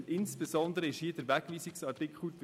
Gegenstand war insbesondere der Wegweisungsartikel;